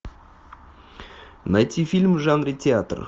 найти фильм в жанре театр